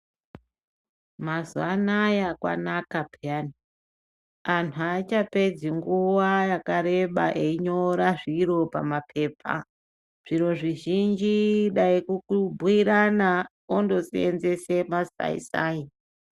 Mazuwaanaya kwanaka peyane, antu achapedzi nguwa yakareba eyinyora zviro pamaphepha. Zviro zvizhinji dai kukubuyirana, ondosenzese masayi sayi.